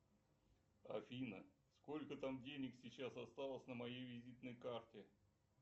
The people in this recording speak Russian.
афина сколько там денег сейчас осталось на моей визитной карте